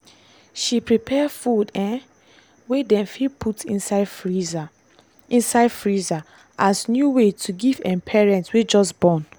she prepare food um wey dem fit put inside freezer inside freezer as new way to give um parents wey just born.